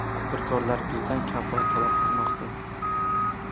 Tadbirkorlar bizdan kafolat talab qilmoqda.